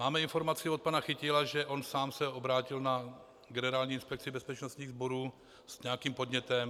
Máme informaci od pana Chytila, že on sám se obrátil na Generální inspekci bezpečnostních sborů s nějakým podnětem.